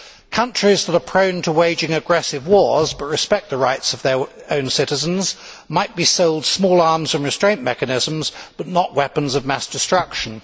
Countries that are prone to waging aggressive wars, but respect the rights of their own citizens, might be sold small arms and restraint mechanisms, but not weapons of mass destruction.